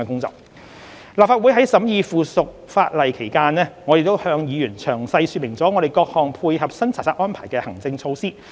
在立法會審議附屬法例期間，我們亦向議員詳細說明我們各項配合新查冊安排的行政措施。